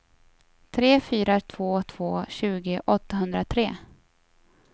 tre fyra två två tjugo åttahundratre